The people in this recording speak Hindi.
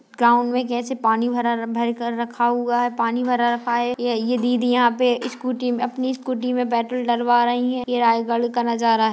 गांव में कैसे पानी भरा भरकर रखा हुआ है पानी भरा रखा हैं ये दीदी यहाँ पर स्कूटी में अपनी स्कूटी में पेट्रोल डलवा रही है यह रायगढ़ का नजारा है।